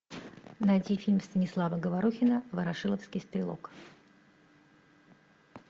найти фильм станислава говорухина ворошиловский стрелок